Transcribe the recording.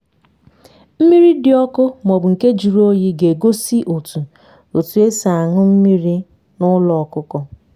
mmiri dị ọkụ maọbụ nke juru oyi ga egosi otu otu esi añu mmiri na ụlọ ọkụkọ